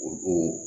O don